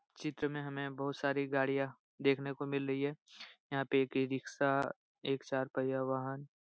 चित्र में हमे बहुत सारी गाड़ियां देखने को मिल रही है। यहाँ पे यह एक इ-रिक्शा एक चार पहिया वाहन --